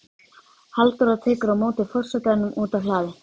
Halldóra tekur á móti forsetanum úti á hlaði.